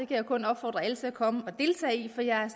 jeg kun opfordre alle til at komme og deltage i for jeg